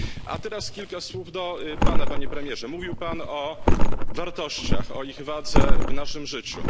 A teraz kilka słów do Pana, Panie Premierze. Mówił Pan o wartościach, o ich wadze w naszym życiu.